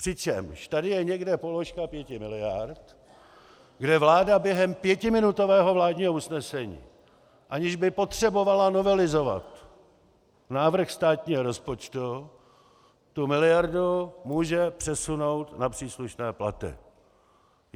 Přičemž je tady někde položka pěti miliard, kde vláda během pětiminutového vládního usnesení, aniž by potřebovala novelizovat návrh státního rozpočtu, tu miliardu může přesunout na příslušné platy.